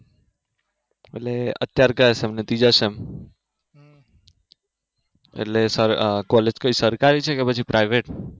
એટલે અત્યારે ક્યાં sem માં છે ત્રીજા sem માં એટલે college કયી સરકારી છે કે પછી private